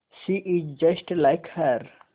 she is just like her